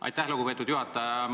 Aitäh, lugupeetud juhataja!